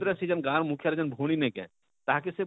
ସେ ଯେନ ଗାଁର ମୁଖ୍ୟା ଯେନ ଭଉଣୀ ନେଇଁ କାଏଁ ତାହା କେ ସେ?